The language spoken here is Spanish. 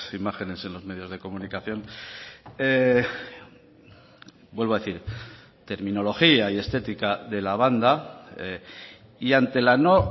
imágenes en los medios de comunicación vuelvo a decir terminología y estética de la banda y ante la no